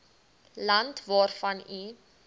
land waarvan u